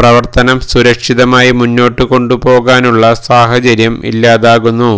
പ്രവർത്തനം സുരക്ഷിതമായി മുന്നോട്ട് കൊണ്ടുപോകാനുള്ള സാഹചര്യം ഇല്ലാതാകുന്നു